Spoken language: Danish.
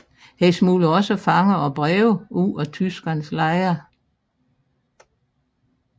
Hun smuglede også fanger og breve ud af tyskernes lejre